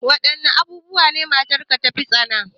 Wadanne abubuwa ne matarka ta fi tsana?